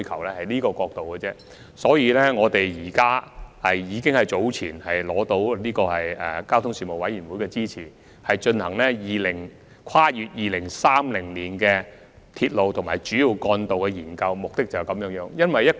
為了試圖從這個角度出發，我們早前諮詢交通事務委員會並獲得其支持，以進行《跨越2030年的鐵路及主要幹道策略性研究》。